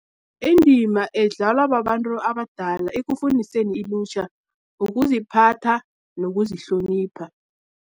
Indima edlalwa babantu abadala, ekufundiseni ilutjha, ukuziphatha, nokuzihlonipha.